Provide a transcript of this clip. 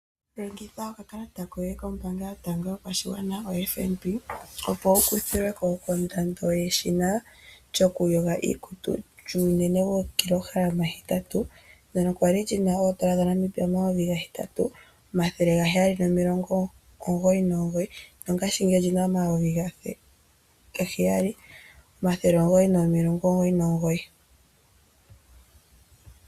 Dhengitha okakalata koye kombaanga yotango yopashigwana oFNB opo wu kuthilwe ko kondando yeshina lyokuyoga iikutu lyuunene wo8KG ndono kwali li na oN$8799 nongashingeyi oli na oN$7999.